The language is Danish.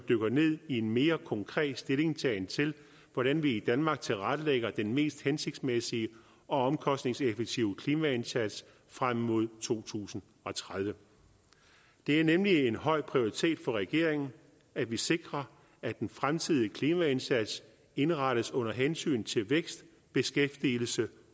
dykker ned i en mere konkret stillingtagen til hvordan vi i danmark tilrettelægger den mest hensigtsmæssige og omkostningseffektive klimaindsats frem mod to tusind og tredive det er nemlig en høj prioritet for regeringen at vi sikrer at den fremtidige klimaindsats indrettes under hensyn til vækst beskæftigelse